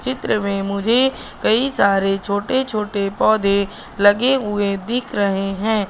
चित्र मे मुझे कई सारे छोटे छोटे पौधे लगे हुए दिख रहे है।